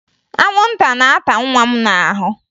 Anwụnta na-ata nwa m n'ahụ